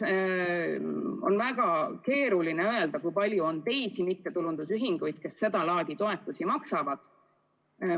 On väga keeruline öelda, kui palju on teisi mittetulundusühinguid, kes seda laadi toetusi maksavad.